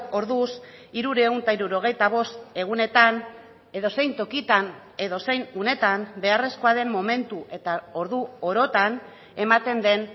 orduz hirurehun eta hirurogeita bost egunetan edozein tokitan edozein unetan beharrezkoa den momentu eta ordu orotan ematen den